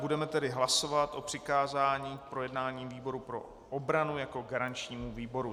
Budeme tedy hlasovat o přikázání k projednání výboru pro obranu jako garančnímu výboru.